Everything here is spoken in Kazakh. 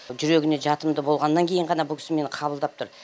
жүрегіне жатымды болғаннан кейін ғана бұл кісі мені қабылдап тұр